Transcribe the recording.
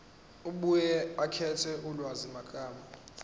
abuye akhethe ulwazimagama